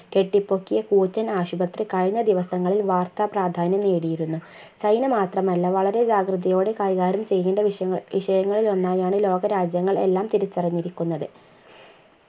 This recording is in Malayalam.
കെട്ടിപ്പൊക്കിയ കൂറ്റൻ ആശുപത്രി കഴിഞ്ഞ ദിവസങ്ങളിൽ വാർത്താ പ്രാധാന്യം നേടിയിരുന്നു ചൈന മാത്രമല്ല വളരെ ജാഗ്രതയോടെ കൈകാര്യം ചെയ്യേണ്ട വിഷയങ്ങ വിഷയങ്ങളിലൊന്നായാണ് ലോകരാജ്യങ്ങൾ എല്ലാം തിരിച്ചറിഞ്ഞിരിക്കുന്നത്